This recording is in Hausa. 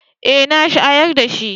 Eh na shayar da shi.